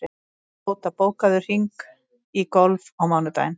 Tóta, bókaðu hring í golf á mánudaginn.